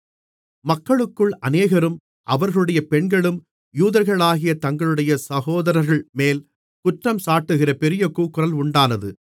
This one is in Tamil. மக்களுக்குள் அநேகரும் அவர்களுடைய பெண்களும் யூதர்களாகிய தங்களுடைய சகோதரர்கள்மேல் குற்றம் சாட்டுகிற பெரிய கூக்குரல் உண்டானது